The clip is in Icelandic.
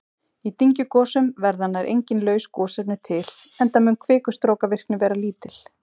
Í dyngjugosum verða nær engin laus gosefni til enda mun kvikustrókavirkni vera lítil.